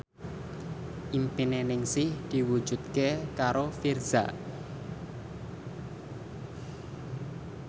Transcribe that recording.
impine Ningsih diwujudke karo Virzha